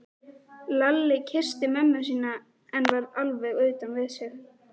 Lalli kyssti mömmu sína en var alveg utan við sig.